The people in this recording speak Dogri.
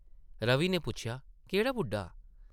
रवि नै पुच्छेआ ,‘‘केह्ड़ा बुड्ढा ?’’